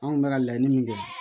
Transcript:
Anw kun bɛ ka laɲini min kɛ